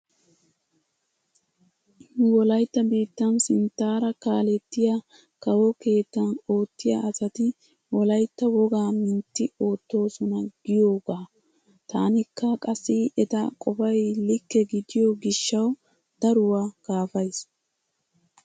Nu wolaytta biittan sinttaara kaalettiya kawo keettan oottiya asati wolaytta wogaa mintti oottoosona giyoogaa. Taanikka qassi eta qofay likke gidiyo gishshawu daruwa kaafays.